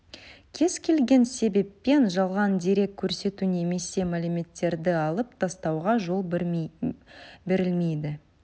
кез келген себеппен жалған дерек көрсету немесе мәліметтерді алып тастауға жол берілмейді